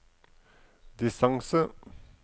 distance